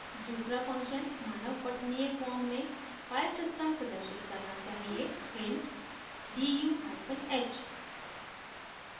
दूसरा function मानव पठनीय form में filesystem प्रदर्शित करना चाहिए hint: du hyphen h